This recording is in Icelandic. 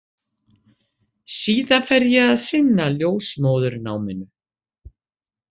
Síðan fer ég að sinna ljósmóðurnáminu.